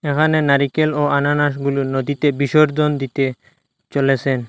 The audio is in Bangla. এখানে নারিকেল ও আনানাসগুলো নদীতে বিসর্জন দিতে চলেসেন।